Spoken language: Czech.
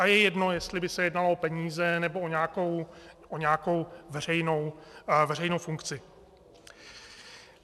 A je jedno, jestli by se jednalo o peníze nebo o nějakou veřejnou funkci.